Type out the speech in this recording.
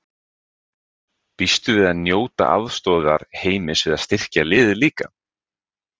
Býstu við að njóta aðstoðar Heimis við að styrkja liðið líka?